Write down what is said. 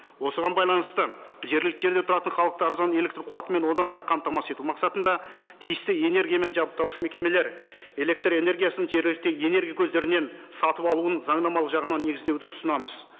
осыған байланысты жергілікті жерде тұратын халықты арзан электрқуатымен одан әрі қамтамасыз ету мақсатында тиісті энергиямен жабдықтаушы мекемелер электрэнергиясын жергілікті энергия көздерінен сатып алуын заңнамалық жағынан негіздеуді ұсынамыз